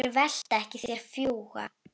Þeir velta ekki, þeir fljúga.